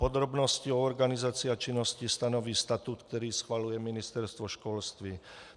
Podrobnosti o organizaci a činnosti stanoví statut, který schvaluje Ministerstvo školství.